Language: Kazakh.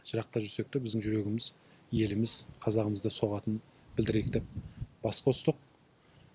жырақта жүрсек те біздің жүрегіміз еліміз қазағымыз деп соғатынын білдірейік деп бас қостық